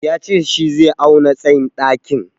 Ya ce shi zai auna tsayin ɗakin.